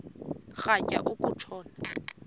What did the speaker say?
rhatya uku tshona